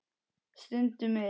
Stundum er